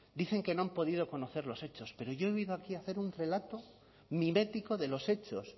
dicen que no han podido conocer los hechos pero yo he venido aquí a hacer un relato mimético de los hechos